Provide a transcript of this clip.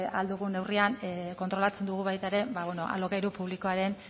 ahal dugun neurrian kontrolatzen dugu baita ere alokairu publikoaren